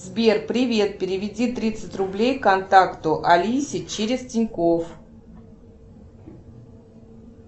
сбер привет переведи тридцать рублей контакту алисе через тинькофф